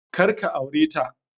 Kar ka aure ta